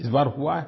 इस बार हुआ है